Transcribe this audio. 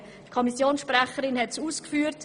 Die Kommissionssprecherin hat es ausgeführt: